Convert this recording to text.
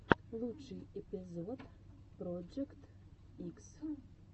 лучший эпизод проджект икс